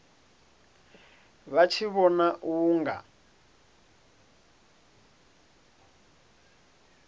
vha tshi vhona u nga